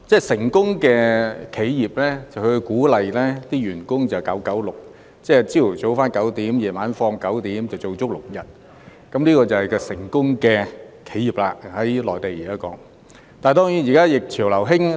成功企業會鼓勵員工 "9-9-6"， 即"早上9時上班，晚上9時下班，每周工作6天"，這就是現時內地成功企業提倡的做法。